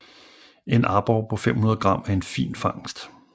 En aborre på 500 g er en fin fangst